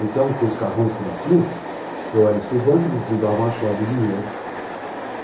Então, com os carrões que eles tinham, eu era estudante, eles me davam a chave e dinheiro.